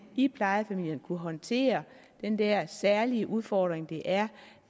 i plejefamilien vil kunne håndtere den der særlige udfordring det er